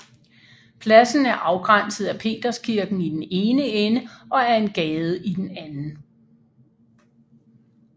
Pladsen er afgrænset af Peterskirken i den ene ende og af en gade i den anden